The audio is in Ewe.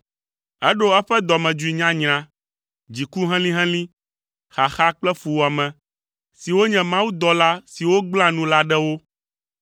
Eɖo eƒe dɔmedzoe nyanyra, dziku helĩhelĩ, xaxa kple fuwɔame, siwo nye mawudɔla siwo gblẽa nu la ɖe wo.